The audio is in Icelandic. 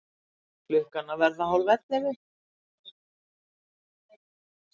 Klukkan að verða hálfellefu.